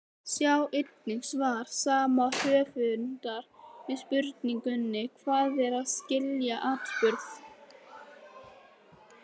Sjá einnig svar sama höfundar við spurningunni Hvað er að skilja atburð?